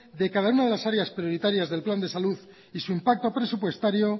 de cada una de las áreas prioritarias del plan de salud y su impacto presupuestario